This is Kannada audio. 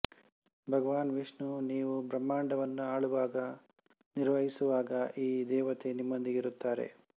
ಭಗವಾನ್ ವಿಷ್ಣು ನೀವು ಬ್ರಹ್ಮಾಂಡವನ್ನು ಆಳುವಾಗ ನಿರ್ವಹಿಸುವಾಗ ಈ ದೇವತೆ ನಿಮ್ಮೊಂದಿಗೆ ಇರುತ್ತಾರೆ